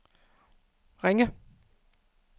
Ringe